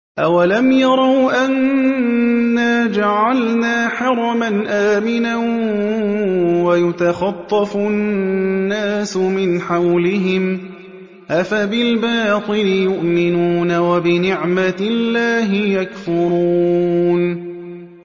أَوَلَمْ يَرَوْا أَنَّا جَعَلْنَا حَرَمًا آمِنًا وَيُتَخَطَّفُ النَّاسُ مِنْ حَوْلِهِمْ ۚ أَفَبِالْبَاطِلِ يُؤْمِنُونَ وَبِنِعْمَةِ اللَّهِ يَكْفُرُونَ